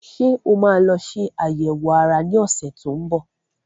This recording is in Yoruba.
Ṣé o máa lọ ṣe àyẹ̀wò ara ní ọ̀sẹ̀ tó ń bọ̀?